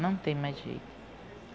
Não tem mais jeito.